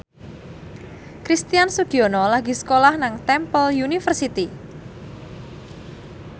Christian Sugiono lagi sekolah nang Temple University